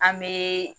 An bɛ